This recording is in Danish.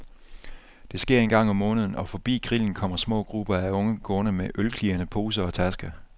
Det sker en gang om måneden, og forbi grillen kommer små grupper af unge gående med ølklirrende poser og tasker.